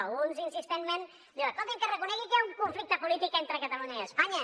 alguns insistentment diuen escolti’m que es reconegui que hi ha un conflicte polític entre catalunya i espanya